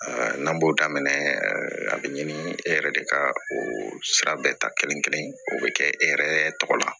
n'an b'o daminɛ a be ɲini e yɛrɛ de ka o sira bɛɛ ta kelen kelen o be kɛ e yɛrɛ tɔgɔ la